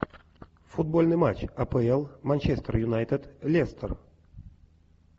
футбольный матч апл манчестер юнайтед лестер